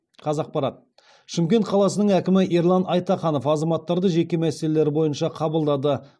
қазақпарат шымкент қаласының әкімі ерлан айтаханов азаматтарды жеке мәселелері бойынша қабылдады